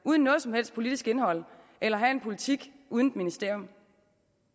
uden noget som helst politisk indhold eller at have en politik uden et ministerium